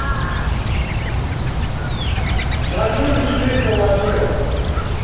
хочу вечеринка вампиров